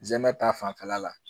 Zɛmɛ ta fanfɛla la